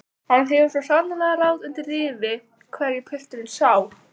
Hann hefur svo sannarlega ráð undir rifi hverju pilturinn sá!